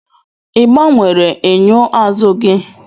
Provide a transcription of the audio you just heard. Ị gbanwere enyo azụ gị?